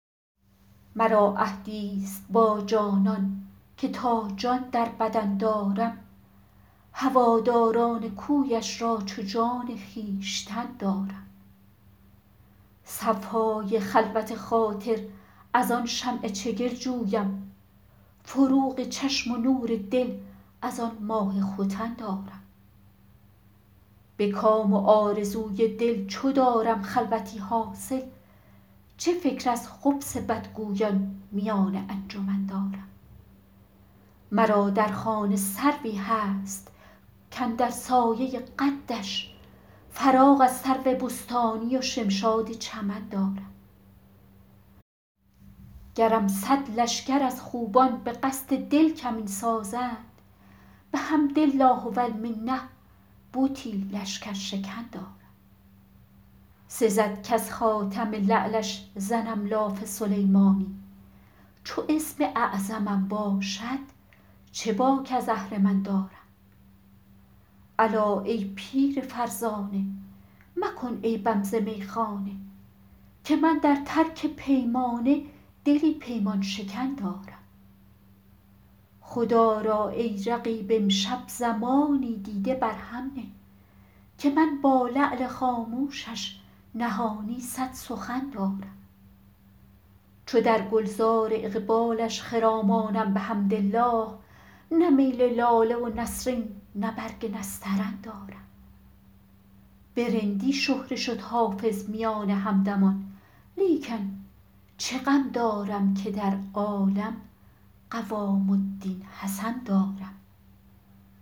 مرا عهدی ست با جانان که تا جان در بدن دارم هواداران کویش را چو جان خویشتن دارم صفای خلوت خاطر از آن شمع چگل جویم فروغ چشم و نور دل از آن ماه ختن دارم به کام و آرزوی دل چو دارم خلوتی حاصل چه فکر از خبث بدگویان میان انجمن دارم مرا در خانه سروی هست کاندر سایه قدش فراغ از سرو بستانی و شمشاد چمن دارم گرم صد لشکر از خوبان به قصد دل کمین سازند بحمد الله و المنه بتی لشکرشکن دارم سزد کز خاتم لعلش زنم لاف سلیمانی چو اسم اعظمم باشد چه باک از اهرمن دارم الا ای پیر فرزانه مکن عیبم ز میخانه که من در ترک پیمانه دلی پیمان شکن دارم خدا را ای رقیب امشب زمانی دیده بر هم نه که من با لعل خاموشش نهانی صد سخن دارم چو در گل زار اقبالش خرامانم بحمدالله نه میل لاله و نسرین نه برگ نسترن دارم به رندی شهره شد حافظ میان همدمان لیکن چه غم دارم که در عالم قوام الدین حسن دارم